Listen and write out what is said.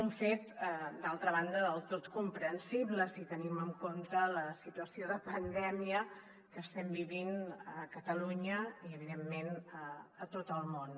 un fet d’altra banda del tot comprensible si tenim en compte la situació de pandèmia que estem vivint a catalunya i evidentment a tot el món